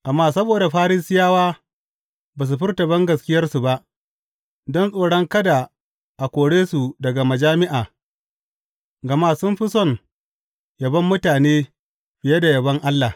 Amma saboda Farisiyawa ba su furta bangaskiyarsu ba, don tsoron kada a kore su daga majami’a; gama sun fi son yabon mutane, fiye da yabon Allah.